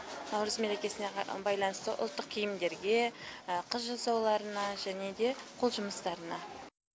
наурыз мерекесіне байланысты ұлттық киімдерге қыз жасауларына және де қол жұмыстарына